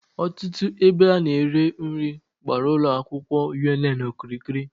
Otutu ebe a na-ere nri gbara Ulo akwukwo UNN okirikiri